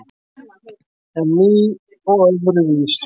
En ný og öðruvísi.